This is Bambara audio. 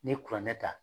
N'i ye kuranɛ ta